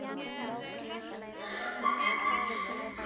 Bústaðavegi